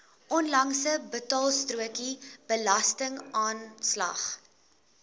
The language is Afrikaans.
onlangse betaalstrokie belastingaanslag